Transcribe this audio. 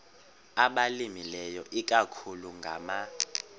abalimileyo ikakhulu ngama